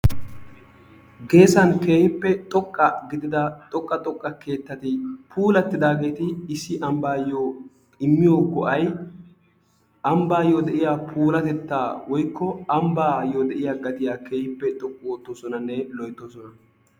Geessan keehippe xoqqa gidida xoqqa xoqqa keettati puulattidaageeti issi ambbayoo immiyo go'ay ambbayoo go'iya puulatettaa woikko ambbayoo de'iyaa gattiya keehiippe xoqqu oottosonannw loyttosona.